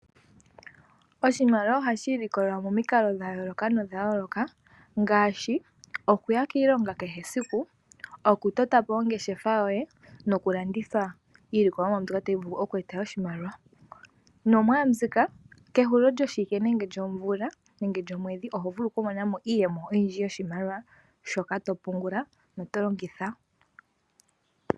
Oshimaliwa ohashi ilikolelwa momikalo dha yooloka ngaashi okuya kiilonga kehe esiku okutota po ongeshefa yoye nokulanditha iilikolomwa mbyoka tayi vulu okueta oshimaliwa nomwaambika kehulilo lyoshiwike nenge lyomvula nenge lyomwedhi oho vulu okumona iiyemo yoshimaliwa shoka to pungula noto longitha.